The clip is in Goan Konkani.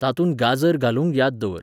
तातूंत गाजर घालूंक य़ाद दवर